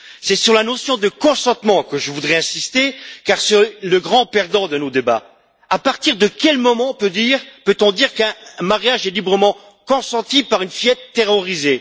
C'est sur la notion de consentement que je voudrais insister car c'est le grand perdant de nos débats. À partir de quel moment peut on dire qu'un mariage est librement consenti par une fillette terrorisée?